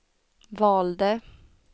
valde